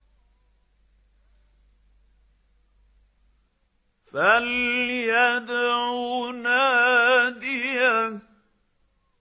فَلْيَدْعُ نَادِيَهُ